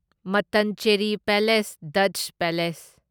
Mattancherry palace Dutch palace